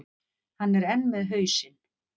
Hann er enn með hausinn.